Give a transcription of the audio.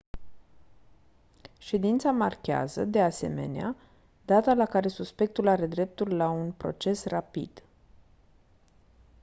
ședința marchează de asemenea data la care suspectul are dreptul la un proces rapid